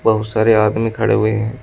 बहुत सारे आदमी खड़े हुए है।